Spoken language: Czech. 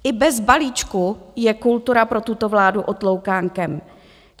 I bez balíčku je kultura pro tuto vládu otloukánkem.